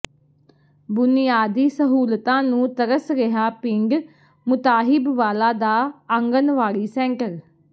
ਬੁਨਿਆਦੀ ਸਹੂਲਤਾਂ ਨੂੰ ਤਰਸ ਰਿਹਾ ਪਿੰਡ ਮੁਤਾਹਿਬ ਵਾਲਾ ਦਾ ਆਂਗਨਵਾੜੀ ਸੈਂਟਰ